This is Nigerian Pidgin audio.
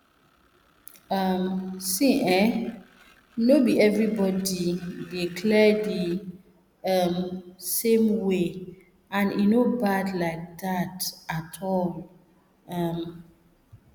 um see ehnno be everybody body dey clear the um same way and e no bad like that at all um